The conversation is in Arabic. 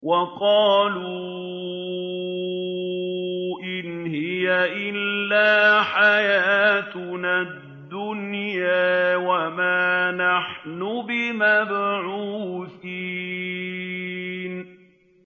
وَقَالُوا إِنْ هِيَ إِلَّا حَيَاتُنَا الدُّنْيَا وَمَا نَحْنُ بِمَبْعُوثِينَ